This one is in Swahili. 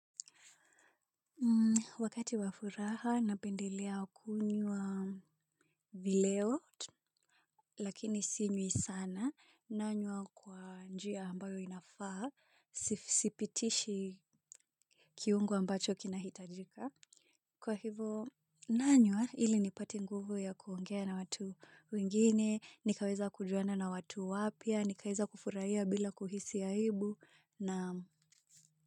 Wakati wa furaha napendelea kunywa vileo lakini sinywi sana nanywa kwa njia ambayo inafaa sipitishi kiungu ambacho kinahitajika kwa hivyo nanywa ili nipate nguvu ya kuongea na watu wengine nikaweza kujuana na watu wapya nikaweza kufurahia bila kuhisi aibu naam.